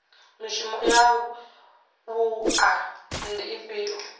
mishumo ya wua ndi ifhio